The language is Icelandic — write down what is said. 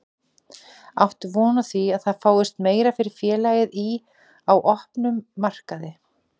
Áttu von á því að það fáist meira fyrir félagið í, á opnum markaði?